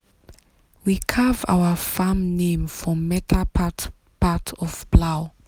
we carve our farm name for metal part part of plow.